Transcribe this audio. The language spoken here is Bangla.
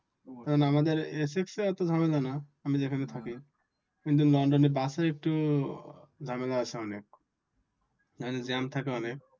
আমাদের এক্ষেত্রে ওতো ঝামেলা নাহ্ আমি যেখানে থাকি কিন্তু normally বাসে একটু ঝামেলা আছে অনেক মানে জ্যাম থাকে অনেক